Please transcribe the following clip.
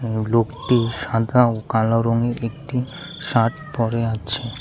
এবং লোকটি সাদা ও কালো রঙের একটি শার্ট পড়ে আছে।